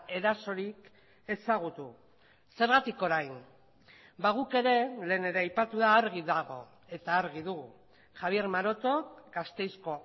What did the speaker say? erasorik ezagutu zergatik orain ba guk ere lehen ere aipatu da argi dago eta argi dugu javier maroto gasteizko